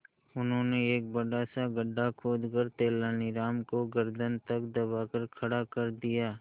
उन्होंने एक बड़ा सा गड्ढा खोदकर तेलानी राम को गर्दन तक दबाकर खड़ा कर दिया